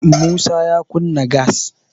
musa ya kunna gas